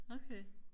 okay